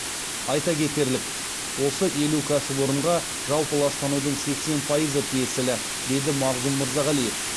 айта кетерлік осы елу кәсіпорынға жалпы ластанудың сексен пайызы тиесілі деді мағзұм мырзағалиев